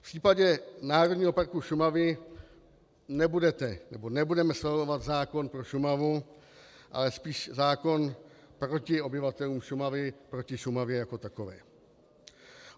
V případě Národního parku Šumava nebudeme schvalovat zákon pro Šumavu, ale spíš zákon proti obyvatelům Šumavy, proti Šumavě jako takové.